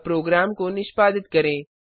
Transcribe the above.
अब प्रोग्राम को निष्पादित करें